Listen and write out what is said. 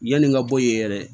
Yanni n ka bɔ yen yɛrɛ